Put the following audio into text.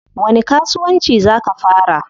Wani kasuwanci zaa ka fara?